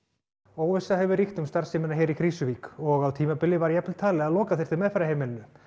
óvissa hefur ríkt um starfsemina hér í Krýsuvík og á tímabili var jafnvel talið að loka þyrfti meðferðarheimilinu